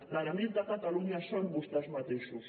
l’enemic de catalunya són vostès mateixos